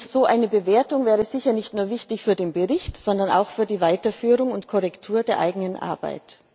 So eine Bewertung wäre sicher nicht nur wichtig für den Bericht, sondern auch für die Weiterführung und Korrektur der eigenen Arbeit.